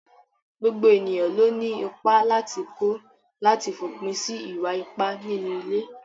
Gbogbo ènìyàn ló ní ìpà látì kó látì fòpin sí ìwà-ìpá nínú ilé.